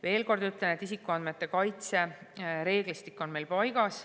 Veel kord ütlen, et isikuandmete kaitse reeglistik on paigas.